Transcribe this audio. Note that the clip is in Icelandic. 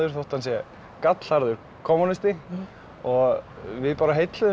þótt hann sé gallharður kommúnisti og við bara